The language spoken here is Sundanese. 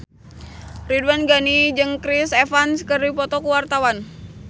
Ridwan Ghani jeung Chris Evans keur dipoto ku wartawan